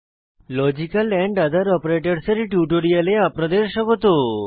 logical ওঠের অপারেটরসহ এর টিউটোরিয়ালে আপনাদের স্বাগত